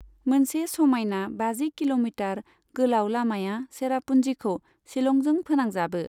मोनसे समायना बाजि किल'मिटार गोलाव लामाया चेरापुन्जीखौ शिलंजों फोनांजाबो।